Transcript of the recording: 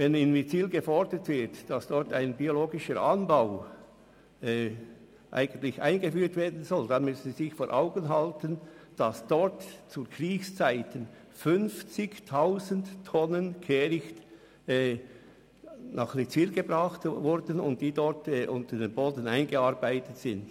Wenn gefordert wird, dass in Witzwil ein biologischer Anbau eingeführt werden soll, müssen Sie sich vor Augen halten, dass dort zu Kriegszeiten 50 000 Tonnen Kehricht hingebracht wurden und seither unter dem Boden vergraben sind.